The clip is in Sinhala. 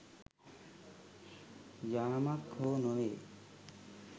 යාමක් හෝ නොවේ.